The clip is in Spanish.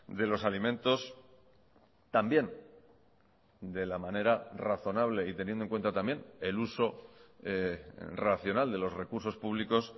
de los alimentos también de la manera razonable y teniendo en cuenta también el uso racional de los recursos públicos